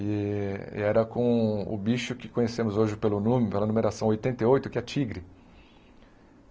E e era com o bicho que conhecemos hoje pelo nome, pela numeração oitenta e oito, que é tigre.